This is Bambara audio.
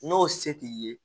N'o se t'i ye